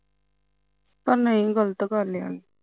ਪਰ ਨਹੀਂ ਗਲਤ ਗੱਲ ਆ